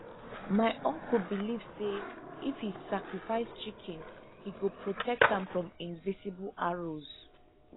my uncle believe say if he sacrifice chicken he go protect am from invisible arrows